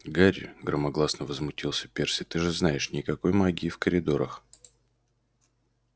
гарри громогласно возмутился перси ты же знаешь никакой магии в коридорах